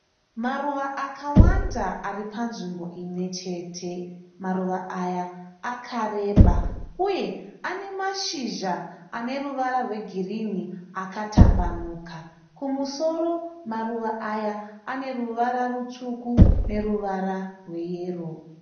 Maruva akawanda ari panzvimbo imwe chete. Maruva aya akareba uye anemashizha aneruvara rwegirini akatambanuka. Kumusoro maruva aya aneruva rutsvuku neruvara rweyero.